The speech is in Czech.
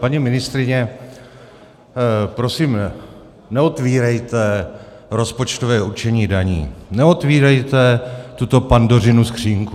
Paní ministryně, prosím neotvírejte rozpočtové určení daní, neotvírejte tuto Pandořinu skříňku.